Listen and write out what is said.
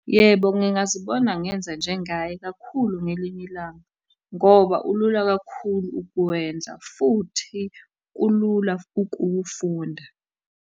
Yebo, ngingazibona ngenza njengaye kakhulu ngelinye ilanga, ngoba ulula kakhulu ukuwenza, futhi kulula ukuwufunda.